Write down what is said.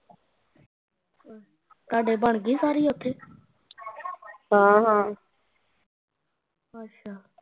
ਤੁਹਾਡੇ ਬਣਗੀ ਸਾਰਿ ਓਥੇ ਅੱਛਾ